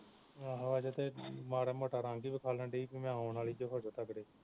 ਆਹੋ ਹਜੇ ਤੇ ਮਾੜਾ ਮੋਟਾ ਰੰਗ ਹੀ ਵਿਖਾਉਣ ਦਈ ਕਿ ਮੈਂ ਆਉਣ ਵਾਲੀ ਜੇ ਹੋ ਜਾਉ ਤਗੜੇ